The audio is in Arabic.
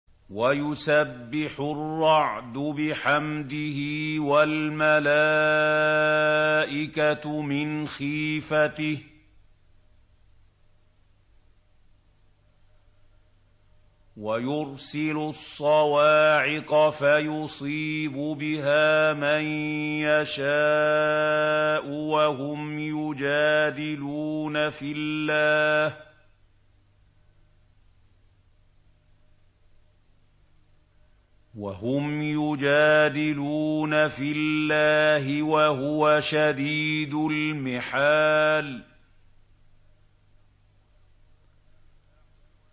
وَيُسَبِّحُ الرَّعْدُ بِحَمْدِهِ وَالْمَلَائِكَةُ مِنْ خِيفَتِهِ وَيُرْسِلُ الصَّوَاعِقَ فَيُصِيبُ بِهَا مَن يَشَاءُ وَهُمْ يُجَادِلُونَ فِي اللَّهِ وَهُوَ شَدِيدُ الْمِحَالِ